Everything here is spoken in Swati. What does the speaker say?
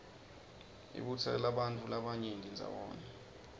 ibutsela bantfu labanyeni ndzawonye